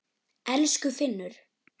Elsku Finnur.